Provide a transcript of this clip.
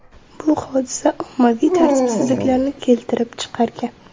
Bu hodisa ommaviy tartibsizliklarni keltirib chiqargan .